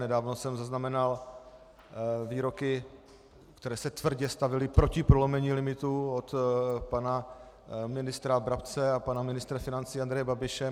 Nedávno jsem zaznamenal výroky, které se tvrdě stavěly proti prolomení limitů od pana ministra Brabce a pana ministra financí Andreje Babiše.